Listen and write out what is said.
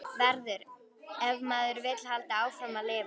Verður- ef maður vill halda áfram að lifa.